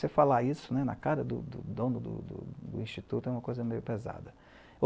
Você falar isso na cara do, do dono do, do Instituto é uma coisa meio pesada.